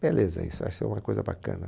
Beleza, isso acho que é uma coisa bacana.